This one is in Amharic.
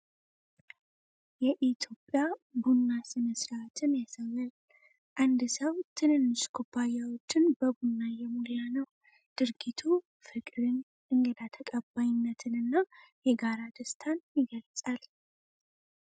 የኢትዮጵያ ቡና ሥነ-ሥርዓትን ያሳያል፤ አንድ ሰው ትንንሽ ኩባያዎችን በቡና እየሞላ ነው ። ድርጊቱ ፍቅርን፣ እንግዳ ተቀባይነትንና የጋራ ደስታን ይገል ል።